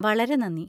വളരെ നന്ദി.